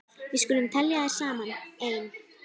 Við skulum telja þær saman: Ein.